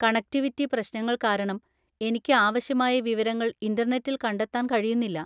Connectivity പ്രശ്‌നങ്ങൾ കാരണം എനിക്ക് ആവശ്യമായ വിവരങ്ങൾ ഇന്‍റർനെറ്റിൽ കണ്ടെത്താൻ കഴിയുന്നില്ല.